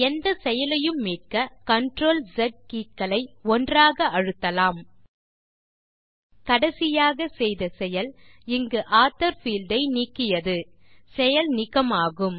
எந்த செயலையும் மீட்க CTRL மற்றும் ஸ் கே க்களை ஒன்றாக அழுத்தலாம் கடைசியாக செய்த செயல் இங்கு ஆத்தோர் பீல்ட் ஐ நீக்கியது செயல் நீக்க மாகும்